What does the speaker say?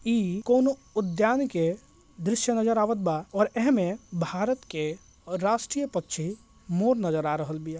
इ कोनो उद्यान के दृश्य नजर आवत बा और ऐह में भारत के राष्ट्रीय पक्षी मोर नजर आब रहल बी हे --